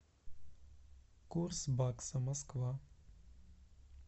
курс бакса москва